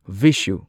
ꯚꯤꯁꯨ